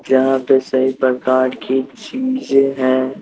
यहां पे सही प्रकार की चीज है।